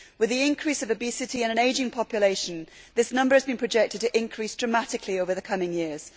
With the increase in obesity and an ageing population, this number has been projected to increase dramatically over the coming years.